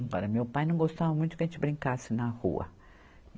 Agora, meu pai não gostava muito que a gente brincasse na rua.